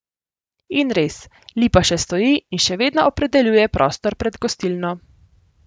In res, lipa še stoji in še vedno opredeljuje prostor pred gostilno.